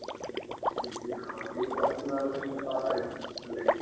ശരിക്കിനി അവൾക്കിനി കുറച്ചുനാള് കഷ്ടപ്പാടായിരിക്കും അല്ലേ